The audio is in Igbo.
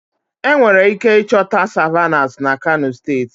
Enwere ike ịchọta Savannahs na kano steeti